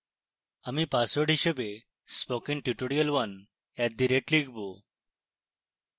আমি পাসওয়ার্ড হিসাবে spokentutorial1 @লিখব